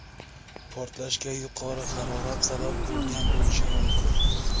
Portlashga yuqori harorat sabab bo‘lgan bo‘lishi mumkin.